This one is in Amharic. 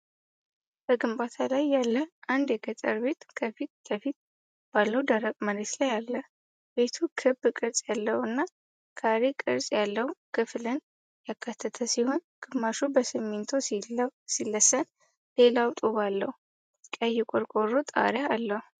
በግንባታ ላይ ያለ አንድ የገጠር ቤት ከፊት ለፊት ባለው ደረቅ መሬት ላይ አለ። ቤቱ ክብ ቅርጽ ያለው እና ካሬ ቅርጽ ያለው ክፍልን ያካተተ ሲሆን፣ ግማሹ በሲሚንቶ ሲለሰን ሌላው ጡብ አለው። ቀይ ቆርቆሮ ጣሪያ አለው።